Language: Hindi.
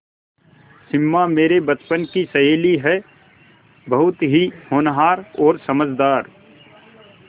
सिमा मेरे बचपन की सहेली है बहुत ही होनहार और समझदार